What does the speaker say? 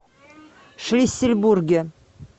шлиссельбурге